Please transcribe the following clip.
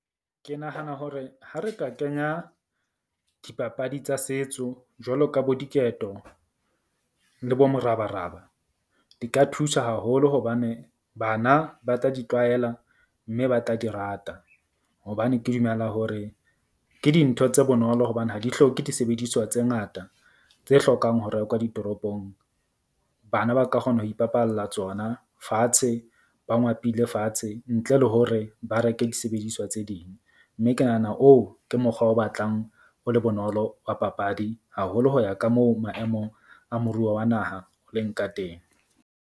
Ke nahana hore ha re ka kenya dipapadi tsa setso, jwalo ka bo diketo le bo morabaraba. Di ka thusa haholo hobane bana ba tla di tlwaela mme ba tla di rata. Hobane ke dumela hore ke dintho tse bonolo hobane ha di hloke disebediswa tse ngata tse hlokang ho rekwa ditoropong. Bana ba ka kgona ho ipapalla tsona fatshe. Ba ngwapile lefatshe ntle le hore ba reke disebediswa tse ding. Mme ke nahana oo ke mokgwa o batlang o le bonolo wa papadi, haholo ho ya ka moo maemo a moruo wa naha o leng ka teng.